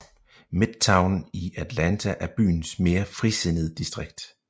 Midtown i Atlanta er byens mere frisindet distrikt